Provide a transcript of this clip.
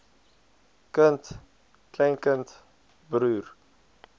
kind kleinkind broer